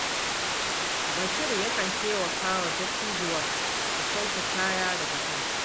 Bashir yakan taimaka wa dattijuwar ta sauke kaya daga kanta.